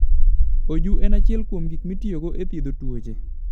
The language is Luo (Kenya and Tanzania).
Oju en achiel kuom gik mitiyogo e thiedho tuoche.